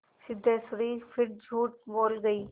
सिद्धेश्वरी फिर झूठ बोल गई